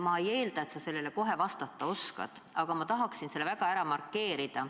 Ma ei eelda, et sa sellele kohe vastata oskad, aga ma tahan selle ära markeerida.